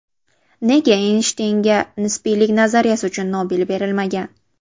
Nega Eynshteynga nisbiylik nazariyasi uchun Nobel berilmagan?.